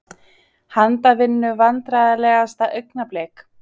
Handavinnu Vandræðalegasta augnablik?